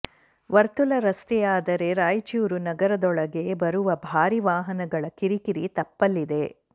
ವರ್ತುಲ ರಸ್ತೆಯಾದರೆ ರಾಯಚೂರು ನಗರದೊಳಗೆ ಬರುವ ಭಾರಿ ವಾಹನಗಳ ಕಿರಿಕಿರಿ ತಪ್ಪಲಿದೆ